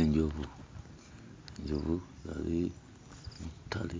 Enjovu yali mu ttale,